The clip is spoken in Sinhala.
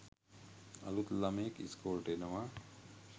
අලුත් ලමයෙක් ඉස්කෝලෙට එනවා